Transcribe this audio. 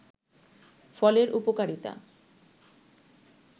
ফলের উপকারিতা